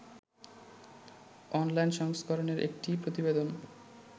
online সংস্করনের একটি প্রতিবেদন